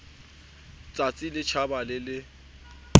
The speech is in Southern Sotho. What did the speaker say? tsatsi le tjhabang le le